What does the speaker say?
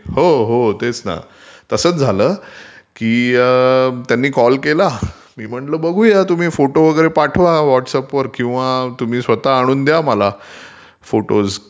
हो हो तेच ना तसंच झालं की त्यांनी कॉल केला, मी म्हटलं बघूया तुम्ही फोटो वगैरे पाठवा व्हॉटस् ऍपवर किंवा तुम्ही स्वतः आणून द्या मला फोटो,